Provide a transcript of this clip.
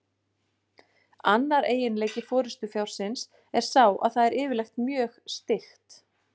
Annar eiginleiki forystufjárins er sá að það er yfirleitt mjög styggt.